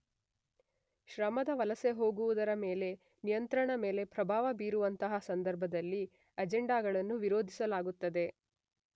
ಶ್ರಮದ ವಲಸೆಹೋಗುವುದರ ಮೇಲೆ ನಿಯಂತ್ರಣದ ಮೇಲೆ ಪ್ರಭಾವಬೀರುವಂತಹ ಸಂದರ್ಭದಲ್ಲಿ ಅಜೆಂಡಾಗಳನ್ನು ವಿರೋಧಿಸಲಾಗುತ್ತದೆ.